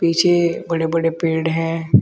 पीछे बड़े-बड़े पेड़ हैं।